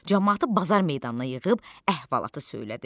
Camaatı bazar meydanına yığıb əhvalatı söylədi.